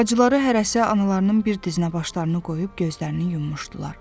Bacıları hərəsi analarının bir dizinə başlarını qoyub gözlərini yummuşdular.